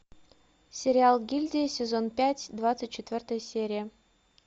сериал гильдия сезон пять двадцать четвертая серия